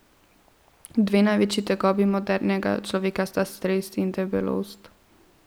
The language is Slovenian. Dve največji tegobi modernega človeka sta stres in debelost.